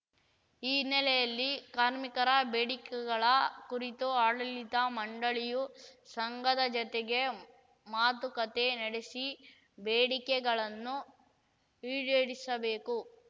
ಈ ಹಿನ್ನೆಲೆಯಲ್ಲಿ ಕಾರ್ಮಿಕರ ಬೇಡಿಕೆಗಳ ಕುರಿತು ಆಡಳಿತ ಮಂಡಳಿಯು ಸಂಘದ ಜತೆಗೆ ಮಾತುಕತೆ ನಡೆಸಿ ಬೇಡಿಕೆಗಳನ್ನು ಈಡೇರಿಸಬೇಕು